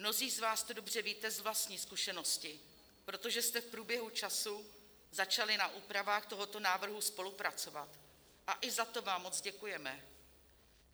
Mnozí z vás to dobře víte z vlastní zkušenosti, protože jste v průběhu času začali na úpravách tohoto návrhu spolupracovat, a i za to vám moc děkujeme.